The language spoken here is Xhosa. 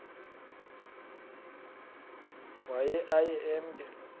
waye aye emke